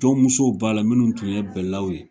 Jɔn musow b'a la minnu tun ye bɛɛlaw ye.